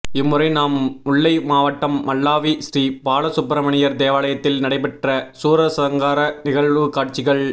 இம்முறை நாம் முல்லைமாவட்டம் மல்லாவி ஸ்ரீ பாலசுப்பிரமணியர் தேவாலயத்தில் நடைபெற்ற சூரசங்கார நிகழ்வுக்காட்சிகள்